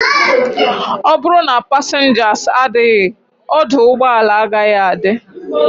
Oburu na passengers adighi, oduugboala agaghi adi